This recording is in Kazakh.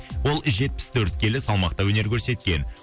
ол жетпіс төрт келі салмақта өнер көрсеткен